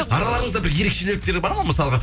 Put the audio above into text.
араларыңызда бір ерекшеліктері бар ма мысалға